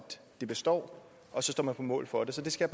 det består og så står man på mål for det så det skal